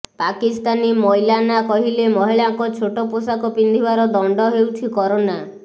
ପାକିସ୍ତାନୀ ମୌଲାନା କହିଲେ ମହିଳାଙ୍କ ଛୋଟ ପୋଷାକ ପିନ୍ଧିବାର ଦଣ୍ଡ ହେଉଛି କରୋନା